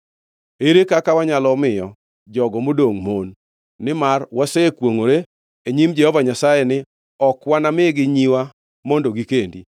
Ere kaka wanyalo miyo jogo modongʼ mon, nimar wasekwongʼore e nyim Jehova Nyasaye ni ok wanamigi nyiwa mondo gikendi?”